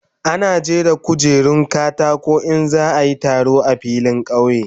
Ana jera kujerun katako in za a yi taro a filin kauye.